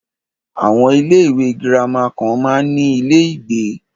Àwọn ilé ìwé gírámà kan máa ń ní ilé ìgbé.